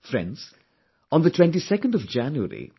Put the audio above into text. Friends, on 22nd January,